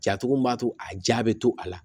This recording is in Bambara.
Jatogo min b'a to a jaa bɛ to a la